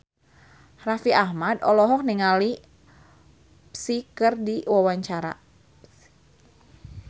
Raffi Ahmad olohok ningali Psy keur diwawancara